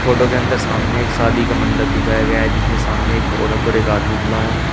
Photo के अंदर सामने एक शादी का मंडप दिखाया गया जिसमें सामने एक औरत और एक आदमी खड़ा है।